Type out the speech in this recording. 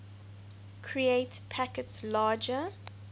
create packets larger